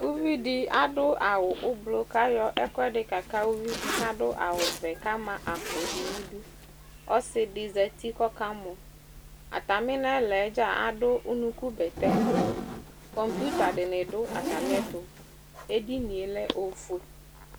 Uvidi adʋ awʋ ʋblʋ k'ayɔ ɛkʋɛdɩ kaka uvidɩ k'adʋ awʋvɛ k'ama akpo n'idu Ɔsɩdɩ zati k'ɔka mɔ; atamɩ n'ɛlaɛ dza zdʋ unukubɛtɛ Kɔŋpitadɩnɩ dʋ atamɩɛtʋ, edinie lɛ ofue